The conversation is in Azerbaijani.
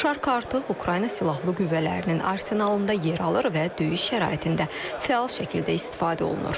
Şark artıq Ukrayna Silahlı Qüvvələrinin arsenalında yer alır və döyüş şəraitində fəal şəkildə istifadə olunur.